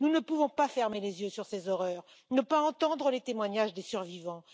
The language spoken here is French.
Nous ne pouvons pas fermer les yeux sur ces horreurs, ne pas entendre les témoignages des survivants.